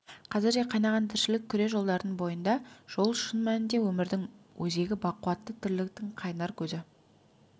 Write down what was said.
қазір де қайнаған тіршілік күре жолдардың бойында жол шын мәнінде өмірдің өзегі бақуатты тірліктің қайнар көзі